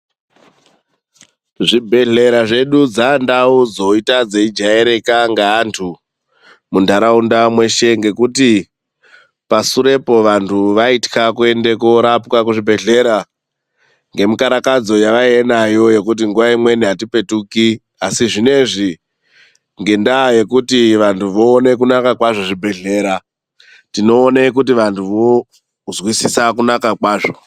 Zvibhedhlera zvedu dzaandau dzoita dzeijairika ngeantu mundaraunda mweshe ngekuti pasurepo vandu vaitya kuende koorapwa kuzvibhedhlera ngemukarakadzo yavainga nayo yekuti nguva imweni atipetuki, asi zvinezvi ngendaa yekuti vandu voone kunaka kwazvo zvibhedhlera, tinoone kuti vanhu vozwisisa kunaka kwazvo. .